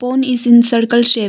Pond is in circle shape.